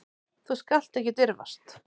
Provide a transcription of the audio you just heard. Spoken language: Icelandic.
Þú skalt ekki dirfast.